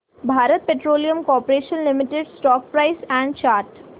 Bharat petroleum corporation limited stock price and chart